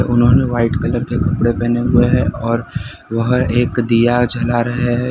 उन्होंने white colour के कपड़े पहने हुए हैं और वह एक दिया जला रहे हैं।